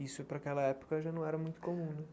Isso para aquela época já não era muito comum, né?